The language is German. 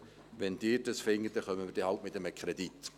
Wenn Sie das wollen, kommen wir dann eben mit einem Kredit.